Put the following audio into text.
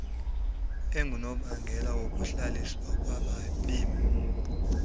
engunobangela wokuhlaliswa kwabemi